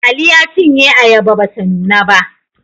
Ali ya cinye ayaba ba ta nuna ba